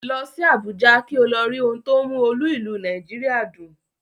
Lọ sí Àbújá kí o lọ rí ohun tó ń mú olú ìlú Nàìjíríà dùn